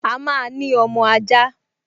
A máa ní ọmọ ajá